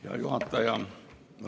Hea juhataja!